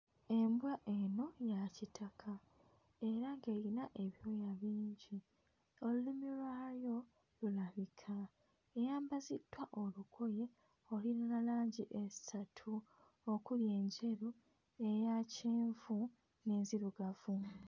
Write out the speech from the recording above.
Embwa eno ya kitaka era eyina ebyoya bingi, olulimi lwayo lulabika eyambaziddwa olugoye oluyina langi essatu okuli enjeru, eya kyenvu n'enzirugavu.